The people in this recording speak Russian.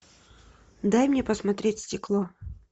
дай мне посмотреть стекло